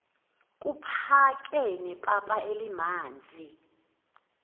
kuphake nepapa elimanzi